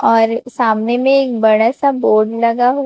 और सामने में एक बड़ा सा बोर्ड लगा--